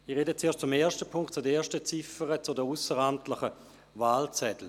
Ich spreche zuerst zur ersten Ziffer betreffend die ausseramtlichen Wahlzettel.